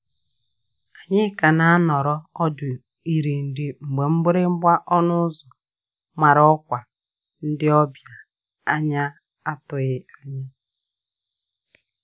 Anyi ka na anọrọ ọdụ iri nri mgbe mgbịrịgba ọnụ ụzọ mara ọkwa ndi obia anya atụghi anya.